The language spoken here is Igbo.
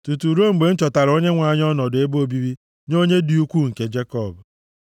tutu ruo mgbe m chọtaara Onyenwe anyị ọnọdụ ebe obibi nye Onye dị ukwuu nke Jekọb.”